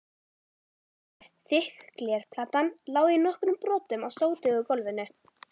borðinu, þykk glerplatan lá í nokkrum brotum á sótugu gólfinu.